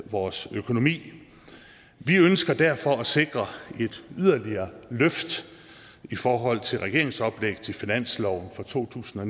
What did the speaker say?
vores økonomi vi ønsker derfor at sikre et yderligere løft i forhold til regeringens oplæg til finanslov for to tusind og